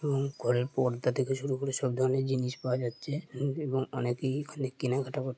এবং ঘরের পর্দা থেকে শুরু করে সব ধরনের জিনিস পাওয়া যাচ্ছে। অনেকেই কেনাকাটা ।